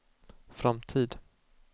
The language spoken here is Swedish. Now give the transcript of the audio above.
framtid